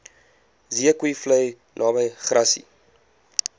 zeekoevlei naby grassy